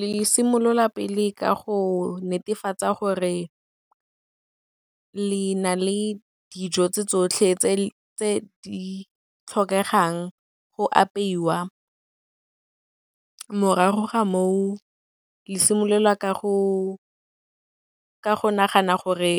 Le simolola pele ka go netefatsa gore le na le dijo tse tsotlhe tse di tlhokegang go apeiwa, morago ga moo, le simololwa ka go nagana gore